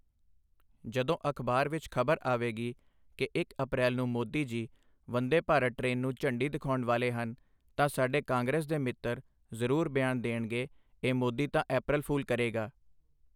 ਜਦੋਂ ਅਖ਼ਬਾਰ ਵਿੱਚ ਖ਼ਬਰ ਆਵੇਗੀ ਕਿ ਇੱਕ ਅਪ੍ਰੈਲ ਨੂੰ ਮੋਦੀ ਜੀ ਵੰਦੇ ਭਾਰਤ ਟ੍ਰੇਨ ਨੂੰ ਝੰਡੀ ਦਿਖਾਉਣ ਵਾਲੇ ਹਨ ਤਾਂ ਸਾਡੇ ਕਾਂਗਰਸ ਦੇ ਮਿੱਤਰ ਜ਼ਰੂਰ ਬਿਆਨ ਦੇਣਗੇ ਇਹ ਮੋਦੀ ਤਾਂ ਅਪ੍ਰੈਲ ਫੂਲ ਕਰੇਗਾ।